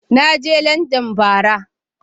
Na je Landan bara.